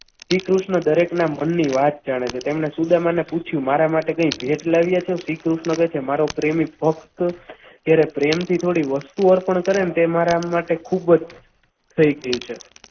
શ્રીકૃષ્ણ દરેકના મનની વાત જાણે છે તેમણે સુદામા ને પૂછ્યું મારા માટે કંઈ ભેટ લાવ્યો છે શ્રીકૃષ્ણ કહે છે મારો પ્રેમી થોડા પ્રેમથી થોડીક વસ્તુઓ પણ કરી ને તો મારા માટે ખૂબ જ કંઈ કઈ છે.